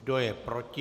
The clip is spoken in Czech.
Kdo je proti?